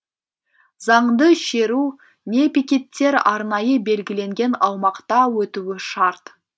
заңды шеру не пикеттер арнайы белгіленген аумақта өтуі шарт